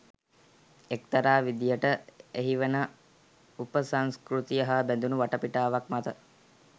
එක්තරා විදියට එහි වන උපසංස්කෘතිය හා බැදුණු වටපිටාවක් මත